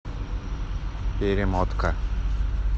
перемотка